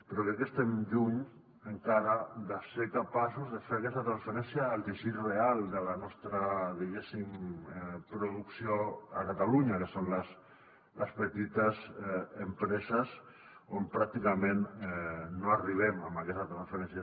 però crec que estem lluny encara de ser capaços de fer aquesta transferència al teixit real de la nostra diguéssim producció a catalunya que són les petites empreses on pràcticament no arribem amb aquesta transferència